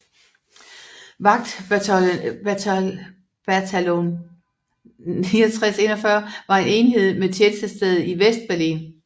Vagtbataljon 6941 var en enhed med tjenestested i Vestberlin